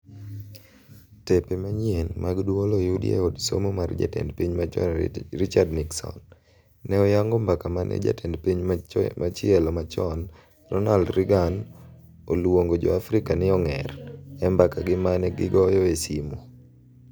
Tepe manyien mag dwol oyudi e od somo mar jatend piny machon Richard Nixon, ne oyango mbaka mane jatend piny machielo machon, Ronald Reagan, oluongo jo Afrika ni "ong'er"e mbakagi mane gigoyo e simu.